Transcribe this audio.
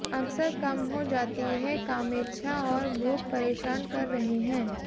अक्सर कम हो जाती है कामेच्छा और भूख परेशान कर रहे हैं